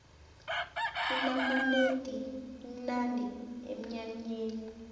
inamanedi imnandi emnyanyeni